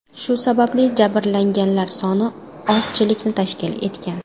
Shu sababli jabrlanganlar soni ozchilikni tashkil etgan.